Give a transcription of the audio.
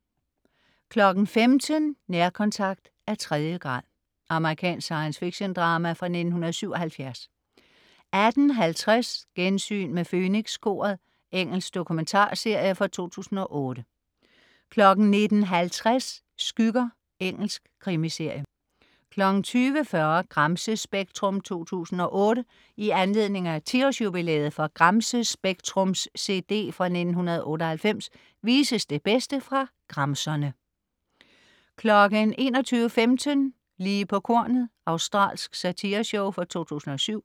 15.00 Nærkontakt af tredje grad. Amerikansk science fiction-drama fra 1977 18.50 Gensyn med Fønikskoret. Engelsk dokumentarserie fra 2008 19.50 Skygger. Engelsk krimiserie 20.40 Gramsespektrum 2008. I anledning af 10-års-jubilæet for Gramsespektrums cd fra 1998 vises det bedste fra gramserne 21.15 Lige på kornet. Australsk satireshow fra 2007